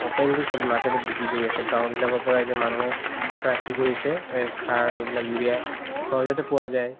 openly চ'ব market ত বিক্ৰি কৰি আছে গাও বিলাকৰ পৰা এতিয়া মানুহে প্ৰায় কি কৰিছে এই সাৰ এইবিলাক উৰিয়া সহজতে পোৱা যাই